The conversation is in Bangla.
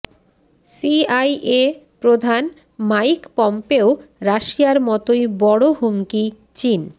সিআইএ প্রধান মাইক পম্পেও রাশিয়ার মতোই বড় হুমকি চীন